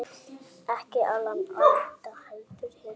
Ekki Alan Alda, heldur hinn